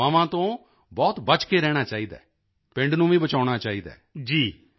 ਅਤੇ ਅਫ਼ਵਾਹਾਂ ਤੋਂ ਬਹੁਤ ਬਚ ਕੇ ਰਹਿਣਾ ਚਾਹੀਦਾ ਹੈ ਪਿੰਡ ਨੂੰ ਵੀ ਬਚਾਉਣਾ ਚਾਹੀਦਾ ਹੈ